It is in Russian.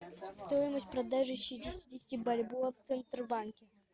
стоимость продажи шестидесяти бальбоа в центробанке